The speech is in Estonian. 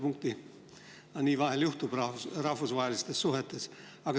Niimoodi vahel juhtub rahvusvahelistes suhetes.